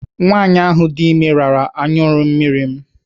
Nwaanyị ahụ dị ime rara anyụmmiri m.